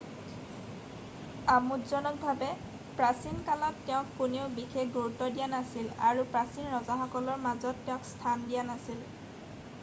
আমোদজনকভাৱে প্ৰাচীন কালত তেওঁক কোনেও বিশেষ গুৰুত্ব দিয়া নাছিল আৰু প্ৰচীন ৰজাসকলৰ মাজত তেওঁক স্থান দিয়া নাছিল